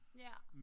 Ja